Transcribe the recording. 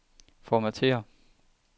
Formatér.